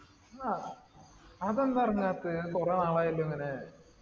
ആ. അതെന്താറെങ്ങാത്തെ? കുറെ നാളായല്ലോങ്ങനെ.